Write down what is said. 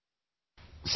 1